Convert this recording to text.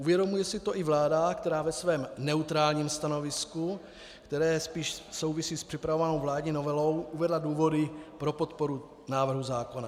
Uvědomuje si to i vláda, která ve svém neutrálním stanovisku, které spíše souvisí s připravovanou vládní novelou, uvedla důvody pro podporu návrhu zákona.